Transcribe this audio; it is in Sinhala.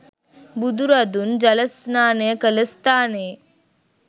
බුදුරදුන් ජල ස්නානය කළ ස්ථානයේ